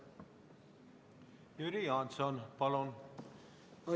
Jüri Jaanson, palun!